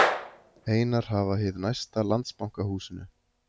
Einar hafa hið næsta Landsbankahúsinu.